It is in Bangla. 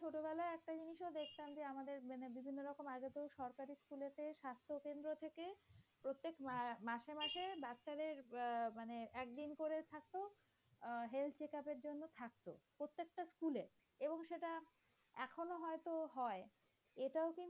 প্রত্যেক মাসে মাস বাচ্চাদের আহ মানে একদিন করে আহ health checkup এর জন্য থাকতো এবং সেটা প্রত্যেকটা স্কুলে এবং সেটা এখনো হয়ত হয় এটাও কিন্তু